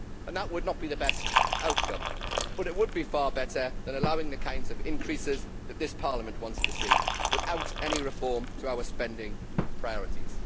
That would not be the best outcome, but it would be far better than allowing the kinds of increases that this Parliament wants to see without any reform to our spending priorities.